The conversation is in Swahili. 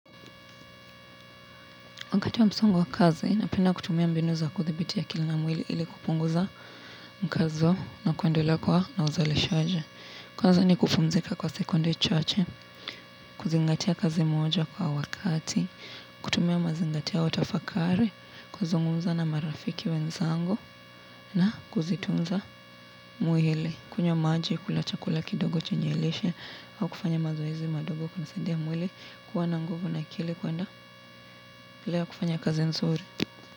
Wakati wa msongo wa kazi, napenda kutumia mbinu za kuthibiti akili na mwili ili kupunguza mkazo na kuendelea kuwa na uzalishaji. Kwanza ni kupumzika kwa sekundu chache, kuzingatia kazi moja kwa wakati, kutumia mazingatio au tafakari, kuzungumza na marafiki wenzangu na kujitunza mwili. Kunywa maji, kula chakula kidogo chenye lishe, au kufanya mazoezi madogo kunasaidia mwili kuwa na nguvu na akili kuwa na lea kufanya kazi nzuri.